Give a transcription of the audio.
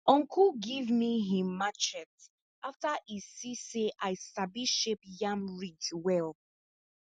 uncle give me him machete after e see say i sabi shape yam ridge well